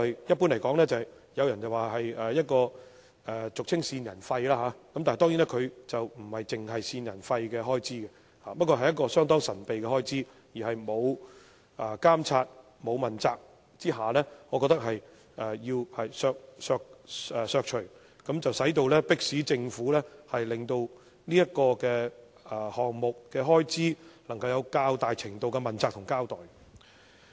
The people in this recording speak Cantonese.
一般而言，這開支與俗稱的"線人費"有關，但它當然不止線人費，而是一項相當神秘的開支，而且缺乏監察和問責下，我覺得有需要刪除，以迫使政府令這個項目的開支能夠有較大程度的問責和交代。